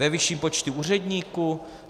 Ve vyšším počtu úředníků?